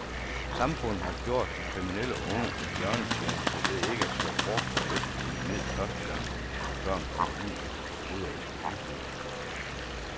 Samfundet har gjort de kriminelle unge en bjørnetjeneste ved ikke at slå hårdt og effektivt ned første gang, børn kommer ud i det forbryderiske uføre.